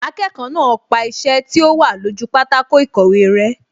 Akẹ́kọ̀ọ́ náà pa iṣẹ́ tí ó wà lójú pátákó ìkọ̀wé rẹ́